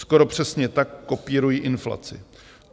Skoro přesně tak kopírují inflaci.